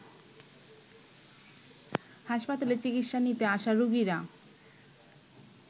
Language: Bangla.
হাসপাতালে চিকিৎসা নিতে আসা রোগীরা